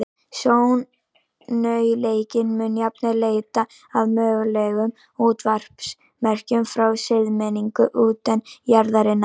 Sjónaukinn mun jafnvel leita að mögulegum útvarpsmerkjum frá siðmenningu utan jarðarinnar.